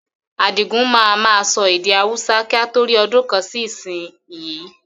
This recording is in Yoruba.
Adigun máa ma sọ èdè Hausa kí a tó rí ọdún kan sì ìsìn yí